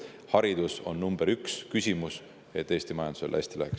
Haridus on number üks küsimus, et Eesti majandusel hästi läheks.